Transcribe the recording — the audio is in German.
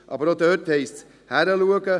Aber auch dort heisst es hinschauen.